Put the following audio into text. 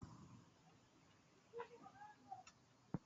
Yan Hisba sun yi wa wasu samari aski a Kano.